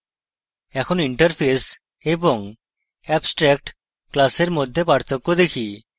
এখন interface এবং abstract class মধ্যে পার্থক্য দেখি